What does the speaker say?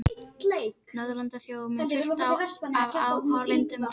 Norðurlandaþjóð og með fullt af áhorfendum og svaka stemmning í því.